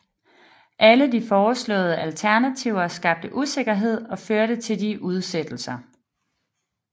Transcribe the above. Alle de foreslåede alternativer skabte usikkerhed og førte til udsættelser